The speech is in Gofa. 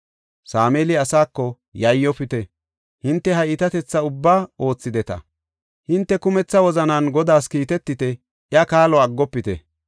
Sameeli asaako, “Yayyofite; hinte ha iitatetha ubbaa oothideta; shin hinte kumetha wozanan Godaas kiitetite; iya kaalo aggofite.